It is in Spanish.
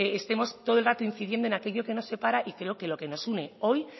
estemos todo el rato incidiendo en aquello que nos separa y creo que lo que nos une hoy